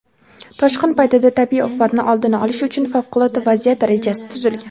toshqin paytida tabiiy ofatni oldini olish uchun favqulodda vaziyat rejasi tuzilgan.